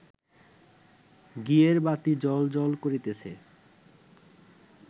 ঘিয়ের বাতি জ্বল্ জ্বল্ করিতেছে